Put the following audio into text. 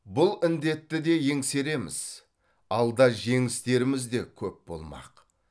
бұл індетті де еңсереміз алда жеңістеріміз де көп болмақ